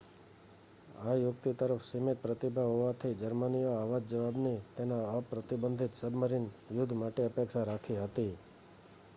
આ યુક્તિ તરફ સીમિત પ્રતિભાવ હોવાથી જર્મનીએ આવા જ જવાબની તેના અપ્રતિબંધિત સબમરીન યુદ્ધ માટે અપેક્ષા રાખી હતી